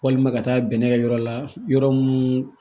Walima ka taa bɛnnɛkɛ yɔrɔ la yɔrɔ mun